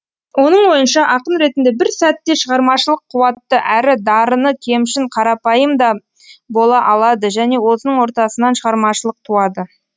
оның ойынша ақын ретінде бір сәтте шығармашылық қуатты әрі дарыны кемшін қарапайым да бола алады және осының ортасынан шығармашылық туады